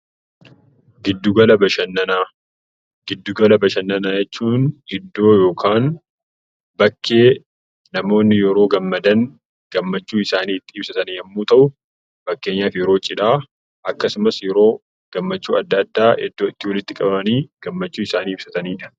Gidduu gala bashannanaa jechuun iddoo yookiin bakkee namoonni yeroo gammadan gammachuu isaanii itti ibsatan yoo ta'u fakkeenyaaf yeroo cidhaa akkasumas yeroo gammachuu garagaraa iddoo itti walitti qabamanii ibsatanidha.